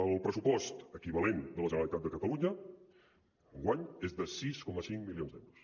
el pressupost equivalent de la generalitat de catalunya enguany és de sis coma cinc milions d’euros